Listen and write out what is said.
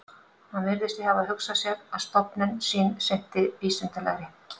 Hann virðist því hafa hugsað sér, að stofnun sín sinnti vísindalegri